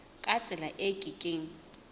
ka tsela e ke keng